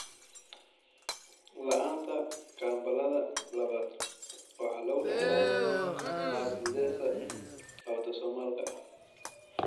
La'aanta kambalada labaaad waxaa lagu dhaxlaa qaab dithesa autosomalka ah.